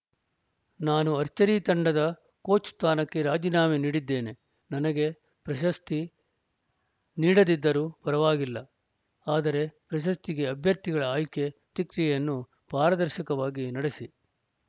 ನಾನು ಅರ್ಚರಿ ತಂಡದ ಕೋಚ್‌ ಸ್ಥಾನಕ್ಕೆ ರಾಜೀನಾಮೆ ನೀಡಿದ್ದೇನೆ ನನಗೆ ಪ್ರಶಸ್ತಿ ನೀಡದಿದ್ದರೂ ಪರವಾಗಿಲ್ಲ ಆದರೆ ಪ್ರಶಸ್ತಿಗೆ ಅಭ್ಯರ್ಥಿಗಳ ಆಯ್ಕೆ ಶಿಕ್ಷೆಯನ್ನು ಪಾರದರ್ಶಕವಾಗಿ ನಡೆಸಿ